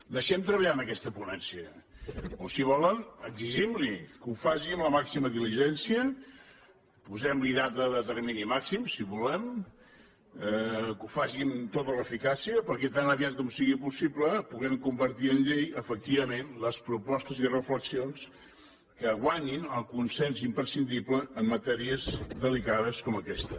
deixem treballar aquesta ponència o si volen exigim li que ho faci amb la màxima diligència posem li data de termini màxim si volem que ho facin amb tota l’eficàcia perquè tan aviat com sigui possible puguem convertir en llei efectivament les propostes i reflexions que guanyin el consens imprescindible en matèries delicades com aquesta